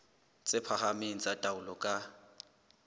tse phahameng tsa taolo ka